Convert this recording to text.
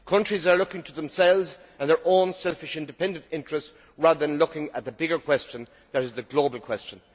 Countries are looking to themselves and their own selfish independent interests rather than looking at the bigger question that is the global question.